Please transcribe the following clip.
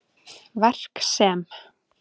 Verk sem